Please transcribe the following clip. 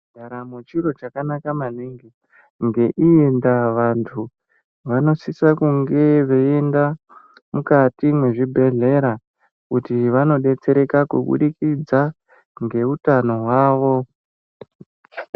Ndaramo chiro chakanaka maningi, ngeiyi ndaa vantu vanosisa kunge veienda mukati mwezvibhedhleya kuti vanodetsereka kubudikidza ngeutano hwavo.